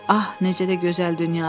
Ah, necə də gözəl dünyadır!